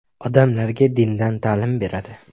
Odamlarga dindan ta’lim beradi.